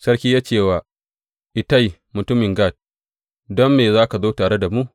Sarki ya ce wa Ittai mutumin Gat, Don me za ka zo tare da mu?